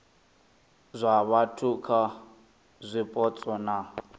zwa vhathu kha zwipotso na